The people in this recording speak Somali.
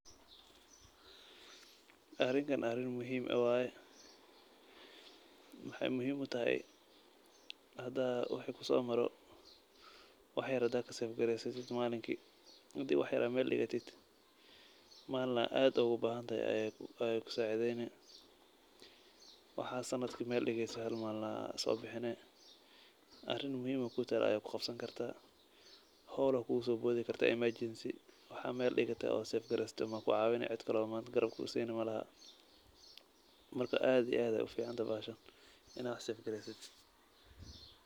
Arinka arin muhiim ah waay. Maxaay muhiim utahay hada wixii ku soo maro wax yer hadaa ka sefgreysid, maalinkii hadii wax yer aad meel dhigatid malin ay aad ugu bahintahay ayaay ku saaideyni. Waxaa sanadki meel dhigatid hal maalin ayaa soo bixini arin muhiim ah ay kuu taala ayaa kuqabsankarta, howl ayaa kugusooboodi kartaa emergency. Waxaaa meel dhigitay oo sefgreysatay baa ku caawini, cidkale oo manta garab ku siineysa malaha. Marka aad iyo aad ayaa u ficantahay bahashan inaa wax sefgreysid.